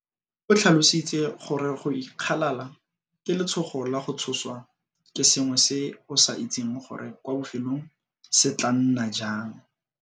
O tlhalositse gore go ikgalala ke letshogo la go tshoswa ke sengwe se o sa itseng gore kwa bofelong se tla nna jang.